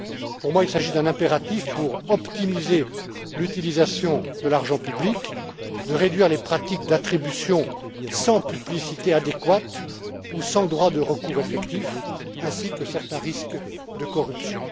Pour moi, il s'agit d'un impératif pour optimiser l'utilisation de l'argent public, de réduire les pratiques d'attribution sans publicité adéquate, ou sans droit de recours effectif, ainsi que certains risques de corruption.